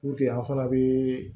an fana bɛ